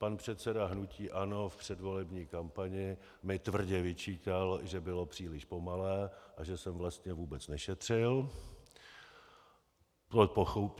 Pan předseda hnutí ANO v předvolební kampani mi tvrdě vyčítal, že bylo příliš pomalé a že jsem vlastně vůbec nešetřil.